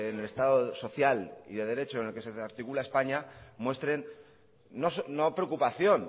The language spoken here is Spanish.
el estado social y de derecho en el que se articula españa muestren no preocupación